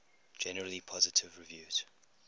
generally positive reviews